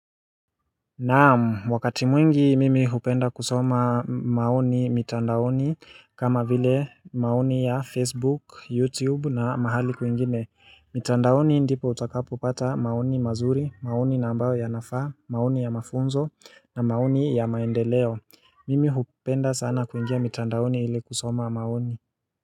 Naam wakati mwingi mimi hupenda kusoma maoni mitandaoni kama vile maoni ya Facebook, YouTube na mahali kuingine. Mitandaoni ndipo utakapopata maoni mazuri, maoni na ambayo yanafaa, maoni ya mafunzo na maoni ya maendeleo. Mimi hupenda sana kuingia mitandaoni ili kusoma maoni.